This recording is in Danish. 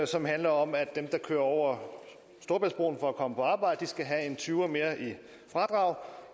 som handler om at dem der kører over storebæltsbroen for at komme på arbejde skal have en tyver mere i fradrag